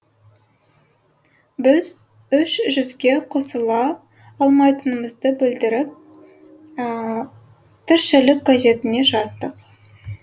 біз үш жүзге қосыла алмайтынымызды білдіріп тіршілік газетіне жаздық